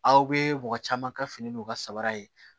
Aw bɛ mɔgɔ caman ka fini n'u ka sabara ye